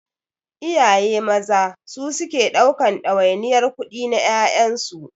Iyaye maza su suke ɗaukan ɗawainiyar kudi na ƴaƴansu.